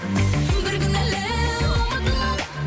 бір күні әлі ұмытылады